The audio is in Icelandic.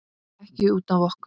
Ekki út af okkur.